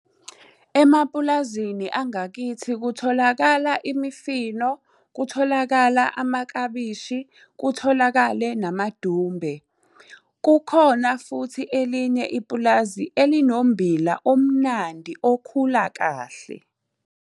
Emapulazini angakithi kutholakala imifino, kutholakala amaklabishi, kutholakale namadumbe. Kukhona futhi elinye ipulazi elinommbila omnandi okhula kahle.